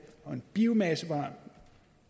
og en biomassevej